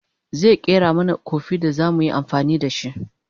zaya ƙera mana Kofi da zamu yi amfani da shi